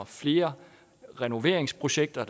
flere renoveringsprojekter og